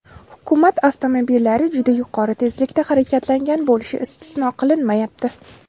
Hukumat avtomobillari juda yuqori tezlikda harakatlangan bo‘lishi istisno qilinmayapti.